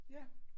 Ja